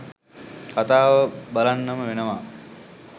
කතාව බලන්නම වෙනවා.